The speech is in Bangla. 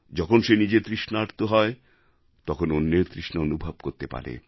যখন সে নিজে তৃষ্ণার্ত হয় তখন অন্যের তৃষ্ণা অনুভব করতে পারে